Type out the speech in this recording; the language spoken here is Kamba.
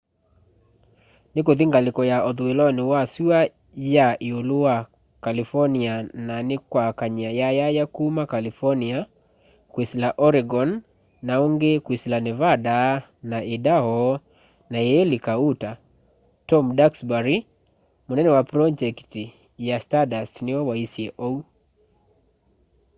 nikuthi ngaliko ya uthuiloni wa sua ya iulu wa california na nikwakany'a yayaya kuma california kwisila oregon na ungi kwisila nevada na idaho na iilika utah tom duxbury munene wa pronjekiti ya stardust niwe waisye uu